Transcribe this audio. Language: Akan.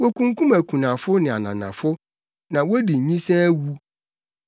Wokunkum akunafo ne ananafo; na wodi ayisaa awu.